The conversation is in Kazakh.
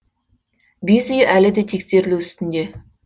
бес үй әлі де тексерілу үстінде